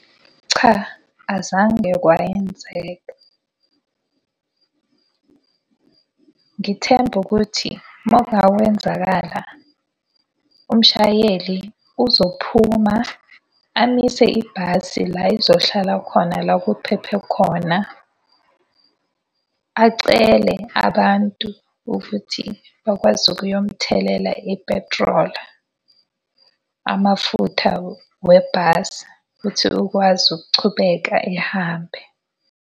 Cha azange kwayenzeka. Ngithemba ukuthi uma kunga wenzakala umshayeli uzophuma amise ibhasi la izohlala khona la kuphephe khona, acele abantu ukuthi bakwazi ukuyo mthelela ipetroli, amafutha webhasi, futhi ukwazi ukuchubeka ehambe.